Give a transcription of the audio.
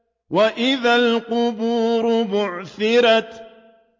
وَإِذَا الْقُبُورُ بُعْثِرَتْ